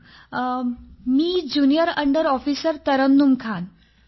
sir माझं नाव junior under officer Tarannum Khan आहे